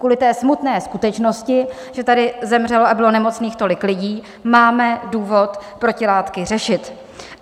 Kvůli té smutné skutečnosti, že tady zemřelo a bylo nemocných tolik lidí, máme důvod protilátky řešit.